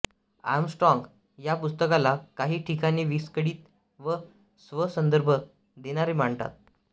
Armstrong या पुस्तकाला काही ठिकाणी विस्कळीत व स्व संदर्भ देणारे मांडतात